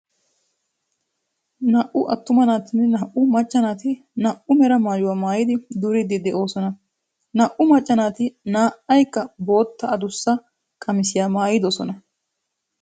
Naa"u attuma naatinne naa"u macca naati naa"u mera maayuwa maayidi duriiddi de'oosona. Naa"u macca naati naa"aykka bootta adussa qamisiya maayidosona.